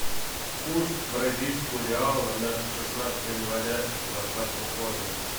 курс бразильского реала на шестнадцатое января двадцатого года